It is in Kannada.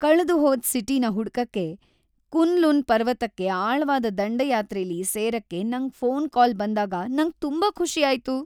ಕಳ್ದುಹೋದ್ ಸಿಟಿನ ಹುಡ್ಕಕೆ ಕುನ್-ಲುನ್ ಪರ್ವತಕ್ಕೆ ಆಳವಾದ ದಂಡಯಾತ್ರೆಲಿ ಸೇರಕ್ಕೆ ನಂಗ್ ಫೋನ್ ಕಾಲ್ ಬಂದಾಗ ನಂಗ್ ತುಂಬಾ ಖುಷಿ ಆಯ್ತು.